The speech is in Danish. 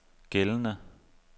gældende